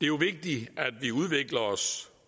jo vigtigt at vi udvikler os